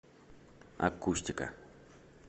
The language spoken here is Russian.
акустика